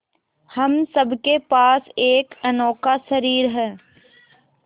हम सब के पास एक अनोखा शरीर है